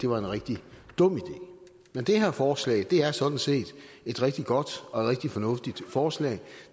var en rigtig dum idé men det her forslag er sådan set et rigtig godt og rigtig fornuftigt forslag